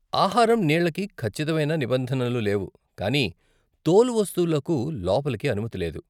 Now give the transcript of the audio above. ఆహారం, నీళ్ళకి ఖచ్చితమైన నిబంధనలు లేవు కానీ తోలు వస్తువులకు లోపలికి అనుమతి లేదు.